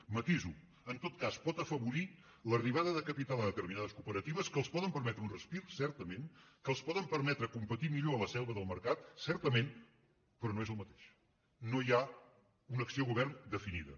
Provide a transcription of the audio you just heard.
ho matiso en tot cas pot afavorir l’arribada de capital a determinades cooperatives que els poden permetre un respir certament que els poden permetre competir millor a la selva del mercat certament però no és el mateix no hi ha una acció govern definida